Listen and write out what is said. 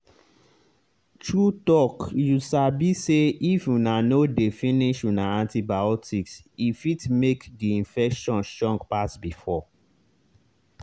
true talkyou sabi say if una no dey finish una antibiotics e fit make the infection strong pass before.